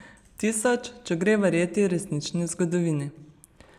Tisoč, če gre verjeti Resnični zgodovini.